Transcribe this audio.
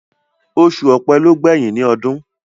Osù ọ̀pẹ ló gbẹ̀yìn ní ọdún